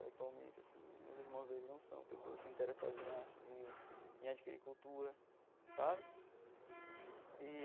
Atualmente assim né, os irmãos dele não são pessoas interessadas em arte nem em adquirir cultura sabe e.